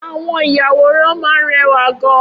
Awọn iyàwórán mà n rẹwá gán